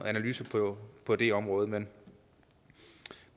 analyse på på det område men